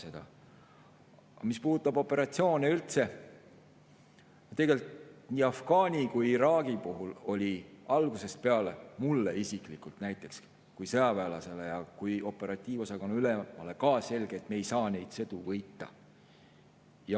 Aga mis puudutab operatsioone üldse, siis nii Afganistani kui ka Iraagi puhul oli mulle isiklikult kui sõjaväelasele ja kui operatiivosakonna ülemale algusest peale selge, et me ei saa neid sõdu võita.